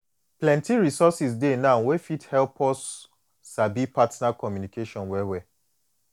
plenty resources dey now wey go fit help us sabi partner communication well well